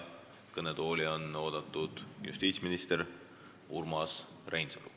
Kõnetooli on oodatud justiitsminister Urmas Reinsalu.